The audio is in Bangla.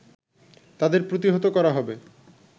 তাদের প্রতিহত করা হবে